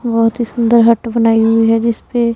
बहोत ही सुंदर हट बनाई हुई है जिसपे--